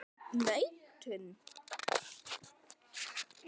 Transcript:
Hraðinn nautn.